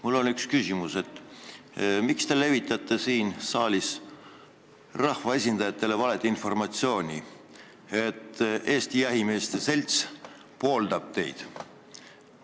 Mul on üks küsimus: miks te levitate siin saalis rahvaesindajatele valeinformatsiooni, nagu Eesti Jahimeeste Selts pooldaks teid?